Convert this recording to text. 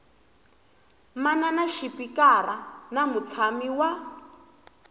manana xipikara na mutshami wa